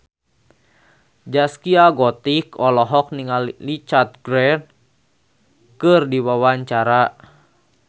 Zaskia Gotik olohok ningali Richard Gere keur diwawancara